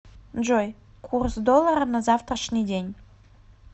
джой курс доллара на завтрашний день